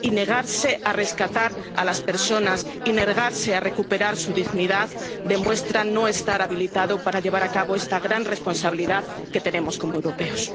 Y negarse a rescatar a las personas y negarse a recuperar su dignidad demuestra no estar habilitado para llevar a cabo esta gran responsabilidad que tenemos como europeos.